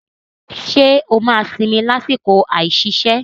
Ṣé o máa sinmi lásìkò àìsiṣẹ́?